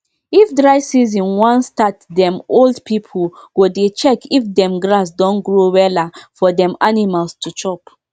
if dry season wan startdem old pipu go dey check if dem grass don grow wella for dem animal to chop